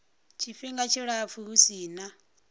tshifhinga tshilapfu hu si na